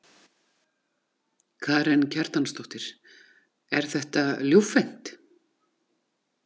Karen Kjartansdóttir: Er þetta ljúffengt?